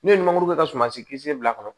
N'o ye nimoro kɛ ka sumansi kisɛ bila a kɔnɔ